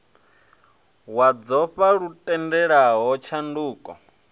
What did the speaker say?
wa dzofha lu tendelaho tshanduko